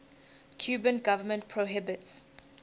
cuban government prohibits